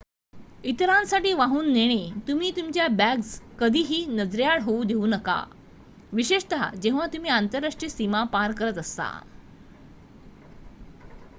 इतरांसाठी वाहून नेणे तुम्ही तुमच्या बॅग्स कधीही नजरेआड होऊ देऊ नका विशेषतः जेव्हा तुम्ही आंतरराष्ट्रीय सीमा पार करत असता